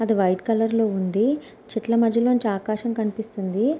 అది white colour లో ఉంది చెట్ల మధ్య లోంచి ఆకాశం కనిపిస్తుంది.